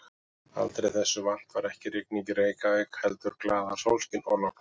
Aldrei þessu vant var ekki rigning í Reykjavík heldur glaðasólskin og logn.